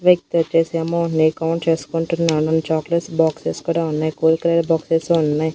వ్యక్తోచ్చేసి amount నీ count చేసుకుంటున్నాను and chocolates boxes కూడా ఉన్నాయి కూల్ కేక్ బాక్సెస్ ఉన్నాయ్.